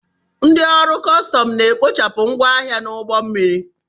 Ndị ọrụ kọstọm na-ekpochapụ ngwongwo n'ụgbọ mmiri.